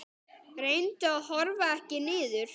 Reyndu að horfa ekki niður.